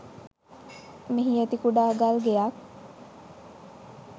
මෙහි ඇති කුඩා ගල්ගෙයක්